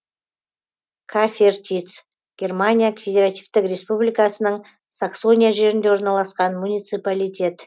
кафертиц германия федеративтік республикасының саксония жерінде орналасқан муниципалитет